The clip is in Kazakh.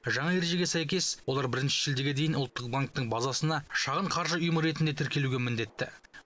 жаңа ережеге сәйкес олар бірінші шілдеге дейін ұлттық банктің базасына шағын қаржы ұйымы ретінде тіркелуге міндетті